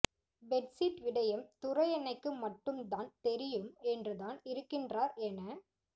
bedsheet விடயம் துரையண்ணைக்கு மட்டும் தான் தெரியும் என்றுதான் இருக்கின்றார் என